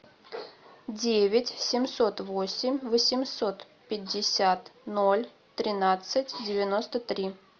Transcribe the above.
девять семьсот восемь восемьсот пятьдесят ноль тринадцать девяносто три